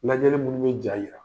Lajɛli minnu bɛ ja ye